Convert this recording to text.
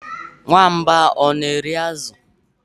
Nwamba ọ na-eri azụ?